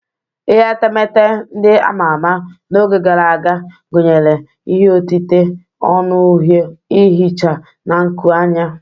Ihe etemeete ndị ama ama n'oge gara aga gụnyere ihe otite onu uhie, ihicha, na nkuanya.